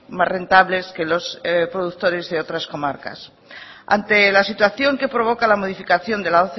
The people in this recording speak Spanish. más rentables que los productores de otras comarcas ante la situación que provoca la modificación de la